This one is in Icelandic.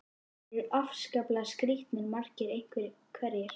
Og þeir eru afskaplega skrítnir, margir hverjir.